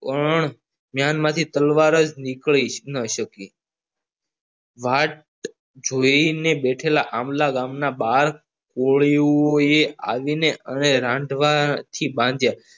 પણ મેન માંથી તલવાર જ નીકળી ન શકી વાત જોઈને બેઠેલા આંબલા ગામના ઓડિયોએ આવીને એને રાંધવાથી બાંધ્યા